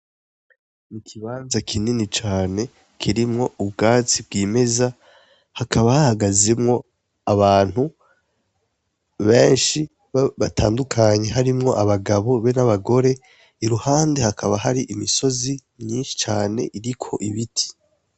Ni ikibanza kinini cane kirimwo ubwatsi bwimeza, hakaba hahagazemwo abantu benshi batandukanye harimwo abagabo be n'abagore iruhande hakaba hari imisozi myinshi cane iriko ibiti.